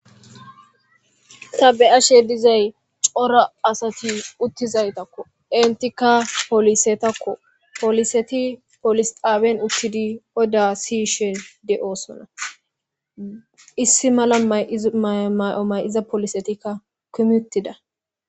Tha be7ashe dizay cora asathi uththizaytakko; enththikka polisethakko; polisethi polis xaaben uththidi oda siyishe de7oosona;issi mala may7izo maayo may7o may7iza polisetikka kumi uththida.